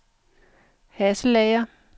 Hasselager